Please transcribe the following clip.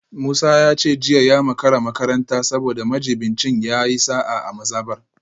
Musa ya ce jiya ya makara makaranta saboda majibincin ya yi sa’a a mazabar